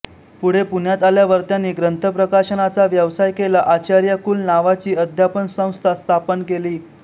पुढे पुण्यात आल्यावर त्यांनी ग्रंथप्रकाशनाचा व्यवसाय केला आचार्यकुल नावाची अध्यापनसंस्था स्थापन केली